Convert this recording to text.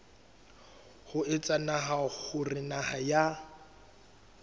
ho etsa hore naha ya